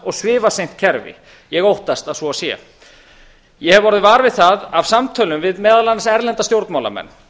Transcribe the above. og svifaseint kerfi ég óttast að svo sé ég hef orðið var við það af samtölum við meðal annars erlenda stjórnmálamenn